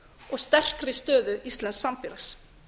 og sterkri stöðu íslensks samfélags